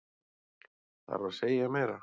Þarf að segja meira?